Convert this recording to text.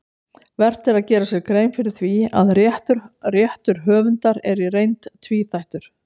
Vert er að gera sér grein fyrir því að réttur höfundar er í reynd tvíþættur.